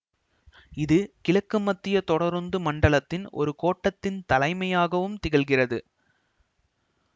இது கிழக்குமத்திய தொடருந்து மண்டலத்தின் ஒரு கோட்டத்தின் தலைமையகமாகவும் திகழ்கிறது